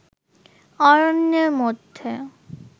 অরণ্যের মধ্যে